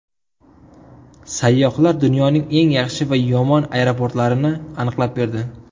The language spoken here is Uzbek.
Sayyohlar dunyoning eng yaxshi va yomon aeroportlarini aniqlab berdi.